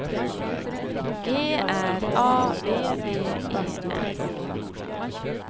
G R A B B E N